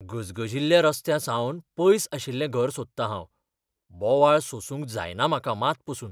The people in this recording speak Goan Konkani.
गिरायकः "गजगजिल्ल्या रस्त्यांसावन पयस आशिल्लें घर सोदतां हांव. बोवाळ सोसूंक जायना म्हाका मात पसून."